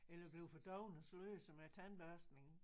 Eller bliver for dovne og sløser med æ tandbørstning